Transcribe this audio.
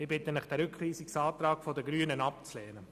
Ich bitte Sie, den Rückweisungsantrag der Grünen abzulehnen.